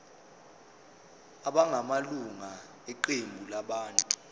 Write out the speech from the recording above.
abangamalunga eqembu labantu